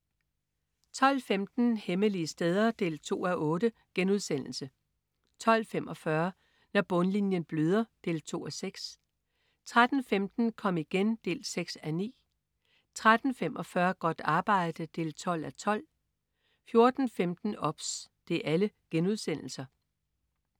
12.15 Hemmelige steder 2:8* 12.45 Når bundlinjen bløder 2:6* 13.15 Kom igen 6:9* 13.45 Godt arbejde 12:12* 14.15 OBS*